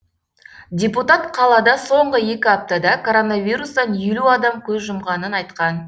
депутат қалада соңғы екі аптада коронавирустан елу адам көз жұмғанын айтқан